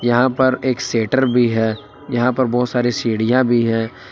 यहां पर एक सेटर भी है यहां पर बहुत सारी सीढ़ियां भी है।